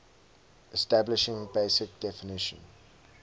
establishing basic definition